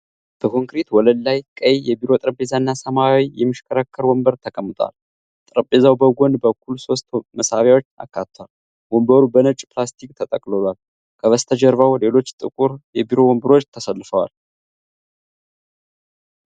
በኮንክሪት ወለል ላይ፣ ቀይ የቢሮ ጠረጴዛ እና ሰማያዊ የሚሽከረከር ወንበር ተቀምጧል። ጠረጴዛው በጎን በኩል ሶስት መሳቢያዎች አካቷል። ወንበሩ በነጭ ፕላስቲክ ተጠቅልሏል። ከበስተጀርባ ሌሎች ጥቁር የቢሮ ወንበሮች ተሰልፈዋል።